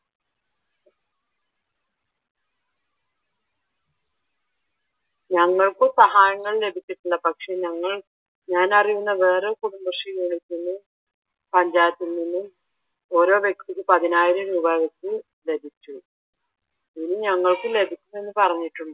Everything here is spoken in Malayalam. ഞങ്ങൾക്കും സഹായങ്ങൾ ലഭിച്ചിട്ടില്ല പക്ഷെ ഞങ്ങൾ ഞാൻ അറിയുന്ന വേറെ കുടുംബശ്രീ യൂണിറ്റുകളിൽ പഞ്ചായത്തിൽ നിന്നും ഓരോ വ്യക്തിക്ക് പതിനായിരം രൂപാ വെച്ച് ലഭിച്ചു. ഇനി ഞങ്ങൾക്കും ലഭിക്കുമെന്ന പറഞ്ഞിട്ടുണ്ട്